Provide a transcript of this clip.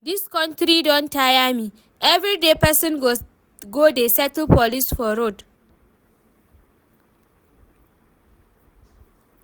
Dis country don tire me, everyday person go dey settle police for road